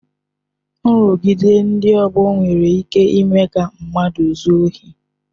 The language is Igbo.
Nrụgide ndị ọgbọ nwere ike ịme ka mmadụ zuo ohi